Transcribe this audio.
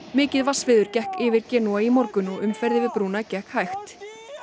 mikið vatnsveður gekk yfir Genúa í morgun og umferð yfir brúna gekk hægt